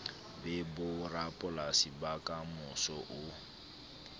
be borapolasi ba kamoso o